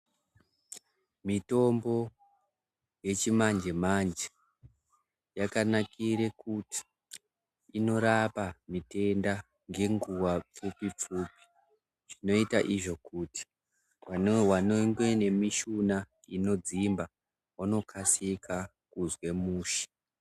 Mitombo yechimanje manje yakanakire kuti inorape mitenda ngenguwa pfupi pfupi zvinoita izvo kuti vanenge vane mishuna inodzimba vanokasika kuzwe mushe.